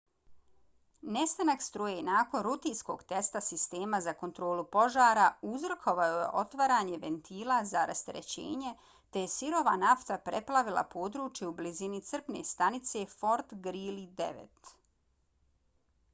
nestanak struje nakon rutinskog testa sistema za kontrolu požara uzrokovao je otvaranje ventila za rasterećenje te je sirova nafta preplavila područje u blizini crpne stanice fort greely 9